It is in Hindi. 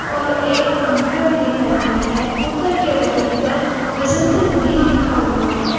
और एक पंखा भी दिखाई दे रहा है ऊपर के बैनर पर बसंत भी लिखा हुआ है।